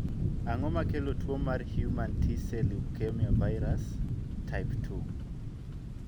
ang'o makelotuo mar Human T cell leukemia virus, type 2?